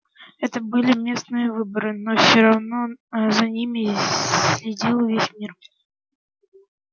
это были местные выборы но все равно за ними следил весь мир